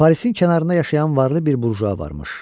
Parisin kənarında yaşayan varlı bir burjua varmış.